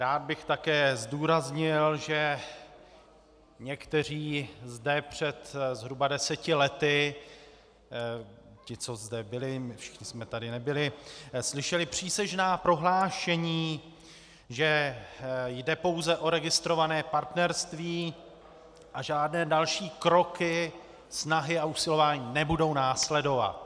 Rád bych také zdůraznil, že někteří zde před zhruba deseti lety, ti, co zde byli, my všichni jsme tady nebyli, slyšeli přísežná prohlášení, že jde pouze o registrované partnerství a žádné další kroky, snahy a usilování nebudou následovat.